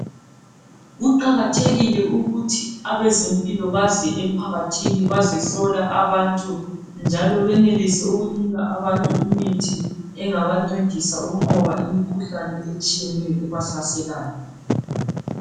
Kuqakathekile ukuthi abezempilo baze emphakathini bazehlola abantu, njalo benelise ukunika abantu imithi engabancedisa ukunqoba imikhuhlane eminengi ebahlaselayo.